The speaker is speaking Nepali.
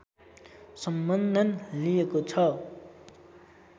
सम्बन्धन लिएको छ।